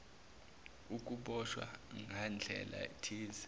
ukuboshwa ngandlela thize